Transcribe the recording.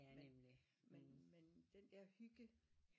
Men men men den der hygge